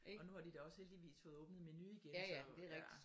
Og nu har de da også heldigvis fået åbnet Meny igen så ja